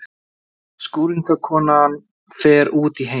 Skúringakona fer út í heim!